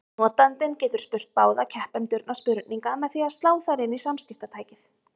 Notandinn getur spurt báða keppendurna spurninga með því að slá þær inn í samskiptatækið.